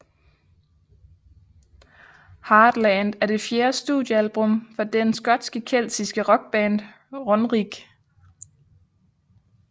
Heartland er det fjerde studiealbum fra den skotske keltiske rockband Runrig